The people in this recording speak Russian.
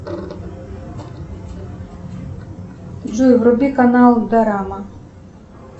джой вруби канал дорама